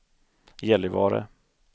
Gällivare